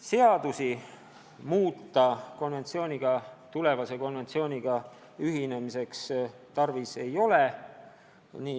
Seadust uue konventsiooniga ühinemiseks tarvis ei ole.